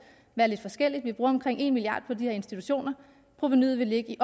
være lidt forskelligt vi bruger omkring en milliard kroner på de her institutioner og provenuet vil ligge i